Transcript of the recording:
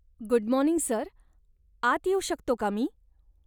Good morning sir, आत येऊ शकतो का मी?